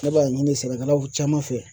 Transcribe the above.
Ne b'a ɲini sɛnɛkɛlaw caman fɛ